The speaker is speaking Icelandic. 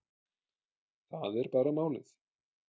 Það er bara málið.